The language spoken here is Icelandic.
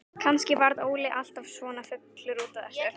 Kannski varð Óli alltaf svona fullur út af þessu.